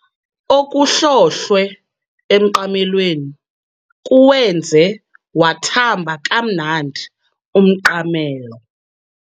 Okuhlohlwe emqamelweni kuwenze wathamba kamnandi umqamelo.